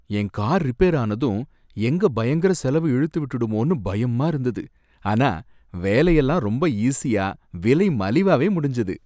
என் car repair ஆனதும் எங்க பயங்கர செலவு இழுத்து விட்டுடுமோன்னு பயமா இருந்தது, ஆனா வேலையெல்லாம் ரொம்ப ஈசியா விலை மலிவாவே முடிஞ்சது.